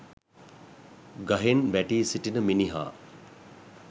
ගහෙන් වැටී සිටින මිනිහා